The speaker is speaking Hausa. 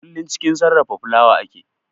Kullum cikin sarrafa fulawa ake